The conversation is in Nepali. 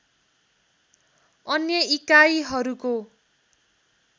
अन्य इकाइहरूको